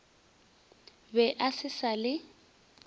be a se sa le